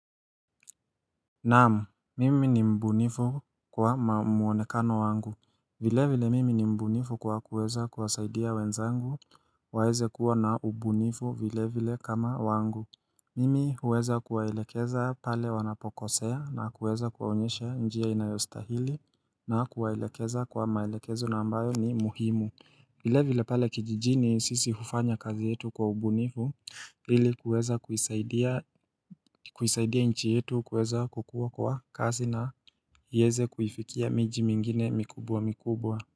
Naam, mimi ni mbunifu kwa mwonekano wangu. Vile vile mimi ni mbunifu kwa kuweza kuwasaidia wenzangu waweze kuwa na ubunifu vile vile kama wangu. Mimi huweza kuwaelekeza pale wanapokosea na kuweza kuwaonyesha njia inayostahili na kuwaelekeza kwa maelekezo na ambayo ni muhimu. Vile vile pale kijijini sisi hufanya kazi yetu kwa ubunifu ili kuweza kuisaidia nchi yetu kuweza kukuwa kwa kasi na ieze kuifikia miji mingine mikubwa mikubwa.